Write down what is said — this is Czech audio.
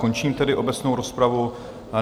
Končím tedy obecnou rozpravu.